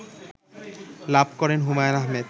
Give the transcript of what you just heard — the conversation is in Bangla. লাভ করেন হুমায়ূন আহমেদ